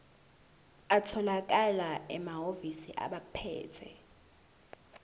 atholakala emahhovisi abaphethe